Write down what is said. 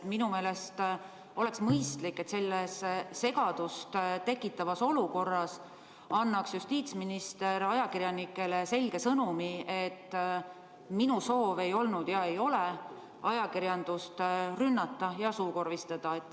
Minu meelest oleks mõistlik, et selles segadust tekitavas olukorras annaks justiitsminister ajakirjanikele selge sõnumi, et soov ei olnud ega ole ajakirjandust rünnata ja suukorvistada.